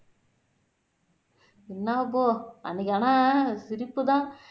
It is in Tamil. என்னபோ அன்னைக்கு ஆனா சிரிப்புதான்